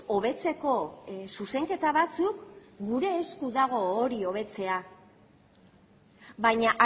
hobetzeko zuzenketa batzuk gure esku dago hori hobetzea baina